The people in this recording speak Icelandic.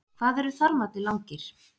Hvað eru þarmarnir langir?